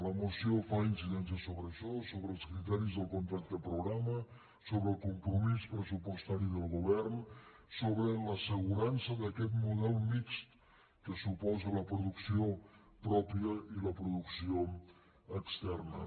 la moció fa incidència sobre això sobre els criteris del contracte programa sobre el compromís pressupostari del govern sobre l’assegurança d’aquest model mixt que suposen la producció pròpia i la producció externa